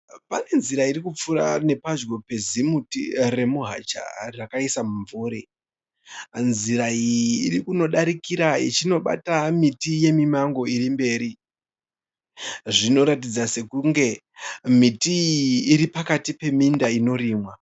Pane nzira irikupfuura nepadyo pezimuti remuhacha rakaisa mumvuri. Nzira iyi iri kunodarikira ichinobata miti yemimango irikumberi. Zvinoratidza sekunge miti iyi iripakati peminda inorimwa.